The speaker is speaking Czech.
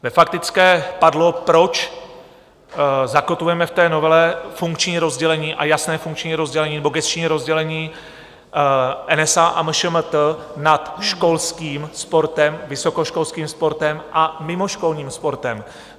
Ve faktické padlo, proč zakotvujeme v té novele funkční rozdělení a jasné funkční rozdělení nebo gesční rozdělení NSA a MŠMT nad školským sportem, vysokoškolským sportem a mimoškolním sportem.